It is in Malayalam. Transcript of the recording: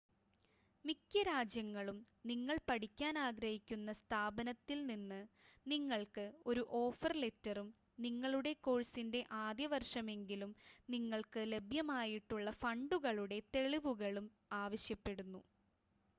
മിക്ക രാജ്യങ്ങളും നിങ്ങൾ പഠിക്കാൻ ആഗ്രഹിക്കുന്ന സ്ഥാപനത്തിൽ നിന്ന് നിങ്ങൾക്ക് ഒരു ഓഫർ ലെറ്ററും നിങ്ങളുടെ കോഴ്സിൻ്റെ ആദ്യ വർഷമെങ്കിലും നിങ്ങൾക്ക് ലഭ്യമായിട്ടുള്ള ഫണ്ടുകളുടെ തെളിവുകളും ആവശ്യപ്പെടുന്നു